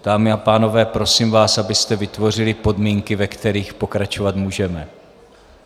Dámy a pánové, prosím vás, abyste vytvořili podmínky, ve kterých pokračovat můžeme.